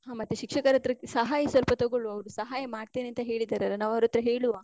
ಹ ಮತ್ತೆ ಶಿಕ್ಷಕರ ಹತ್ರ ಸಹಾಯ ಸ್ವಲ್ಪ ತೊಗೊಳ್ವ, ಅವ್ರು ಸಹಾಯ ಮಾಡ್ತೇನೆ ಅಂತ ಹೇಳಿದರಲ್ಲ, ನಾವ್ ಅವ್ರ್ ಹತ್ರ ಹೇಳುವಾ.